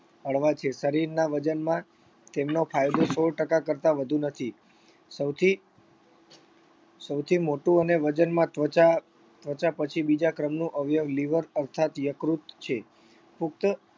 હળવા છે શરીરના વજનમાં તેમનો ફાયદો સોળ ટકા કરતાં વધુ નથી સૌથી સૌથી મોટું અને વજનમાં ત્વચા ત્વચા પછી બીજા ક્રમનું અવયવ liver અર્થાત યકૃત છે પુખ્ત